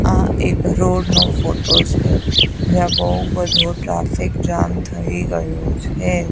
આ એક રોડ નો ફોટો છે જ્યાં બૌ બધો ટ્રાફિક જામ થઇ ગયો છે.